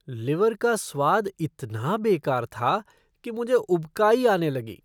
Liver का स्वाद इतना बेकार था कि मुझे उबकाई आने लगी।